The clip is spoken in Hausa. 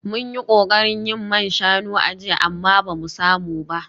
Mun yi kokarin yin man shanu a jiya amma ba mu samu ba